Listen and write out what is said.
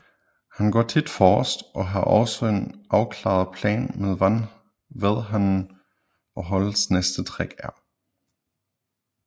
Han går tit forrest og har også en afklaret plan med hvad han og holdets næste træk er